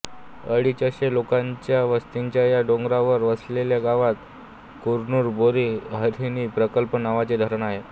अडीचशे लोकांच्या वस्तीच्या या डोंगरावर वसलेल्या गावात कुरनूर बोरी हरिणी प्रकल्प नावाचे धरण आहे